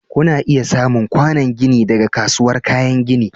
Kuna iya samun kwanon gini daga kasuwar kayan gini.